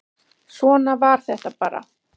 Svona var þetta bara.